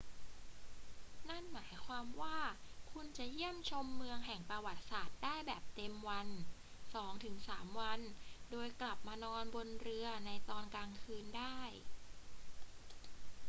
นั่นหมายความว่าคุณจะเยี่ยมชมเมืองแห่งประวัติศาสตร์ได้แบบเต็มวันสองถึงสามวันโดยกลับมานอนบนเรือในตอนกลางคืนได้